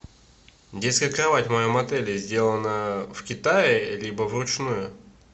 детская кровать в моем отеле сделана в китае либо вручную